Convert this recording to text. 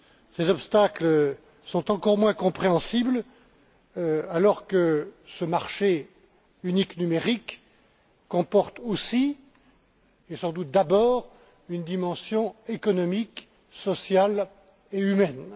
Ces obstacles sont encore moins compréhensibles alors que ce marché unique numérique comporte aussi, et sans doute d'abord, une dimension économique, sociale et humaine.